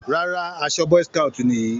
Rárá, aṣọ boy scout nìyí.